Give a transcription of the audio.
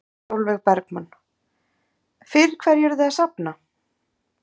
Sólveig Bergmann: Fyrir hverju eruð þið að safna?